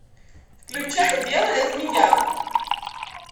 включай белая змея